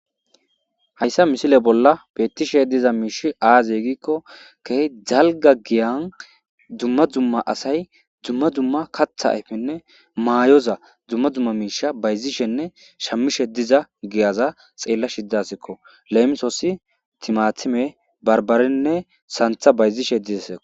hayssa misile bolla bettishe diza miish aazey giikko keh jalga giyan dumma dumma asay dumma dumma katha ayfenne maayoza dzumma dzumma miisha bayzishenne shammishe diza giyaza xeella shiddasikko leemisoossi timatime barbarinne santha bayzishe des